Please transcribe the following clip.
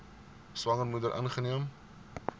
swanger moeder ingeneem